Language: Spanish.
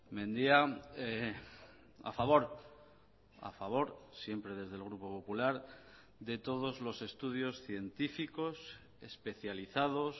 mendia a favor a favor siempre desde el grupo popular de todos los estudios científicos especializados